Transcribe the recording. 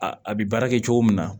A a bɛ baara kɛ cogo min na